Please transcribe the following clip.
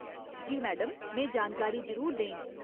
जी madam, में जानकारी जरूर देङ।